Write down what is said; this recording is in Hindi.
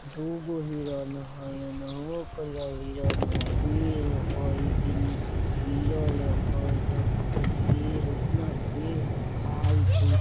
दुगो हिरण हई ओनहु करिया हिरण हई पेड़ हई जेन्ने से घेरल हई ओकरा भीतर पेड़ हई इतना पेड़ हई खाइत हई।